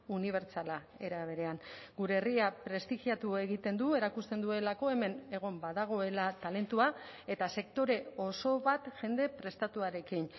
unibertsala era berean gure herria prestigiatu egiten du erakusten duelako hemen egon badagoela talentua eta sektore oso bat jende prestatuarekin